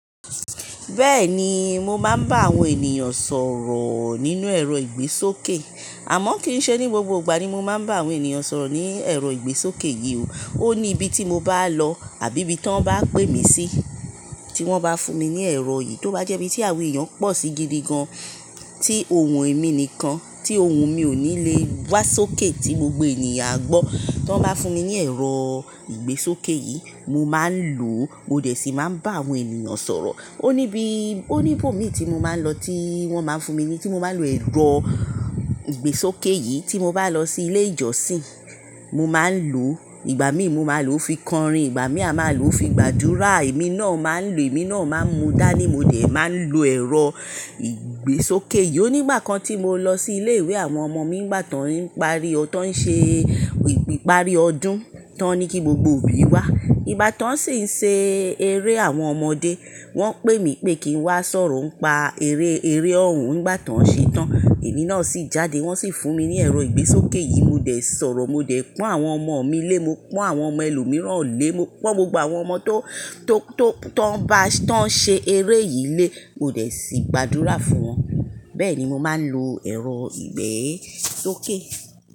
Bẹ́ẹ̀ni, mo máa ń bá àwọn ènìyàn sọ̀rọ̀ nínú ẹ̀rọ ìgbésókè, àmọ́ kì í ṣe ní gbogbo ìgbà ni mo máa ń bá àwọn ènìyàn sọ̀rọ̀ ní ẹ̀rọ ìgbésókè yìí o. Ó ní ibi tí mo bá lọ àbí ibi tí tan bá pè mí sí, tí wọ́n bá fún mi ní ẹ̀rọ yìí, tó bá jẹ́ bí tí àwon eeyan pọ̀ sí gidi gan, tí ohun èmi nìkan, tí ohun mi ò ní lè wá sókè tí gbogbo ènìyàn gbọ́, tí wọ́n bá fún mi ní ẹ̀rọ ìgbésókè yìí, mo máa ń lò ó, mo dẹ̀ sì máa ń bá àwọn ènìyàn sọ̀rọ̀. Ó ní bí, ó ní ibòmíràn tí mo máa ń lọ tí wọ́n máa ń fún mi ní tí mo máa ń lo ẹ̀rọ ìgbésókè yìí, tí mo bá lọ sí ilé ìjọsìn, mo máa ń lò ó. Ìgbà míì mo máa lò ó fi kọrin, ìgbà míì a máa lò ó fi gbàdúrà. Èmi náà máa ń lò, èmi náà máa ń mu dání, mo dẹ̀ máa ń lo ẹ̀rọ ìgbésókè yìí. O nígbà kan tí mo lọ sí ilé ìwé àwọn ọmọ mi, nígbà tó ń parí ọdún, tó ń ṣe ìparí ọdún, tó ní kí gbogbo òbí wá. Nígbà tó ń sì ń ṣe eré àwọn ọmọdé, wọ́n pè mí pé kí n wá sọ̀rọ̀ ń pa eré, eré ọ̀rùn nígbà tó ń ṣe tán. Èmi náà sì jáde, wọ́n sì fún mi ní ẹ̀rọ ìgbésókè yìí, mo dẹ̀ sọ̀rọ̀, mo dẹ̀ pon àwọn ọmọ mi lé, mo pon àwọn ọmọ ẹlòmíràn lé, mo po gbogbo àwọn ọmọ tó, tó, tó ń bá, tó ń ṣe eré yìí lé, mo dẹ̀ sì gbàdúrà fún wọn. Bẹ́ẹ̀ni mo máa ń lo ẹ̀rọ ìgbésókè.